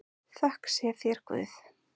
Þökk sé þér Guð.